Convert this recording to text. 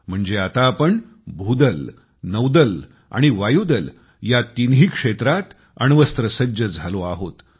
म्हणजे आता आपण लष्करनौदल आणि वायुदल या तिन्ही क्षेत्रांत अण्वस्त्र सज्ज झालो आहोत